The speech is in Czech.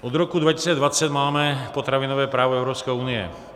Od roku 2020 máme potravinové právo Evropské unie.